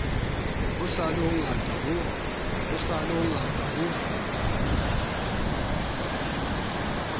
ho sa le hongata ho